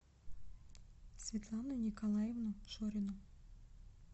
светлану николаевну шорину